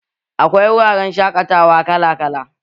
Akwai wuraren shaƙatawa kala kala